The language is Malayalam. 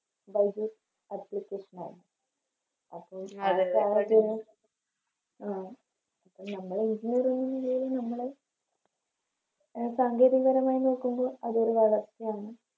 ബൈജൂസ്‌ Application ആണ് അപ്പൊ നമ്മള് ഇതുവരെ അങ്ങനെയൊരു നമ്മള് അഹ് സാങ്കേതിക പരമായി നോക്കുമ്പോ അതൊരു വളർച്ചയാണ്